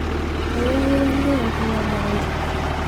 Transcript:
kainyio iunitoto teine te mukunta?